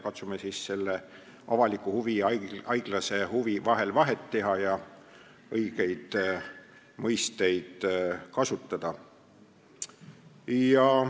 Katsume siis selle avaliku huvi ja haiglase huvi vahel vahet teha ja õigeid mõisteid kasutada.